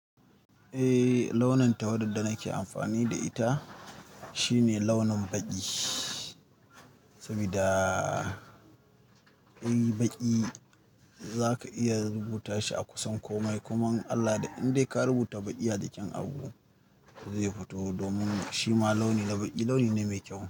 Eh launin tawada da nake amfani da ita shine launin baƙi, saboda shi baƙi za ka iya rubuta shi a kusan komai. Kuma in Allah ya yadda indai ka rubuta baƙi a jikin abun zai fito domin shi ma launi na baƙi launi ne mai kyau.